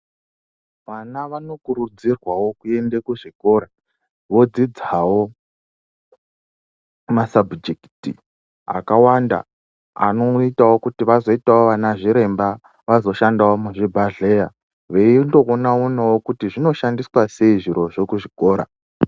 Vana vanokurudzirwavo kuende kuzvikora vodzidzavo masabhujekiti akawanda anoitavo kuti vazoitavo vana zviremba vazoshandavo muzvibhadhleya. Veindoona-onavo kuti zvinoshandiswa sei zvirozvo kuzvikora.